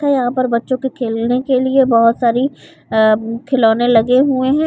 ये यहाँ पर बच्चों को खेलने के लिए बहोत सारी अ खिलोने लगे हुए है।